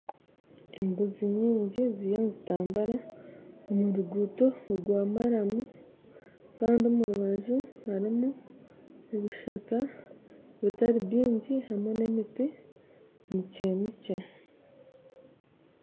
Embuzi nyingyi ziriyo nizitambura omu ruguto rwa maramu kandi omu rubaju harumu ebishaka bitari bingyi hamwe na emiti mikye mikye